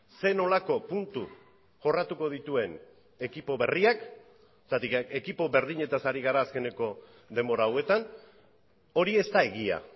zer nolako puntu jorratuko dituen ekipo berriak zergatik ekipo berdinetaz ari gara azkeneko denbora hauetan hori ez da egia